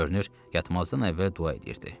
Görünür, yatmazdan əvvəl dua eləyirdi.